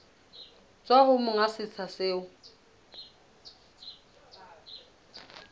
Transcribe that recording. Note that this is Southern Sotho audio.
tswa ho monga setsha seo